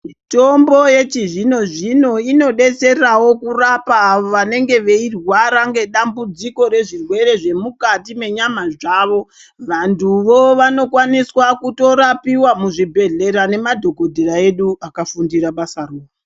Mitombo yechizvino zvino inodetserawo kurapa vanenge veirwara ngedambudziko rezvirwere zvemukati menyama dzavo. Vanthuwo vanokwaniswa kutorapiwa muzvibhehlera nemadhokotera edu akafundira basaro.